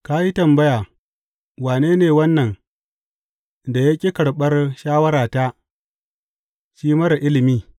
Ka yi tambaya, Wane ne wannan da ya ƙi karɓar shawarata shi marar ilimi?’